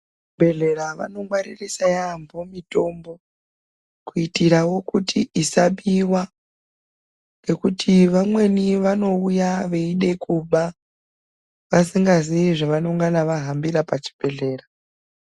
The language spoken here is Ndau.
Kuzvibhehlera vanongwaririsa yambo mitombo kuitirawo kuti isabiwa ngekuti vamweni vanouya veide kuba vasingazivi zvavanongana vahambira pachibhehlera .